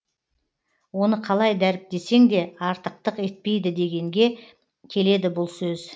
оны қалай дәріптесең де артықтық етпейді дегенге келеді бұл сөз